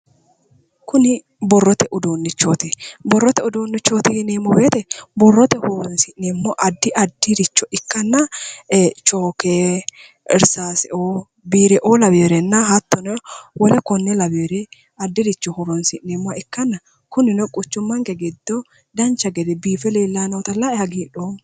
Borrote uduunne yineemmo woyte addi addiricho ikkana chooke irsaaseoo laweworenna hattono wole konne lawewore addiricho horoonsi'neemmoha ikkanana kunino quchummanke giddo dancha gede biife leellayi noota lae hagiidhoomma.